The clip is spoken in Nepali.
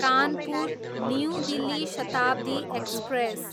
Kanpur, new Delhi Shatabdi express